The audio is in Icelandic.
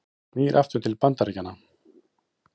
Snýr aftur til Bandaríkjanna